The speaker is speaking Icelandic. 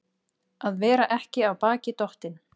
Að vera ekki af baki dottinn